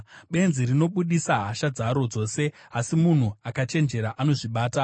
Benzi rinobudisa hasha dzaro dzose, asi munhu akachenjera anozvibata.